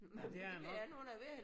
Ja det er det nok